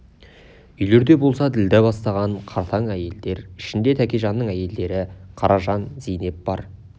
үйлерде болса ділдә бастаған қартаң әйелдер ішінде тәкежанның әйелдері қаражан зейнеп бар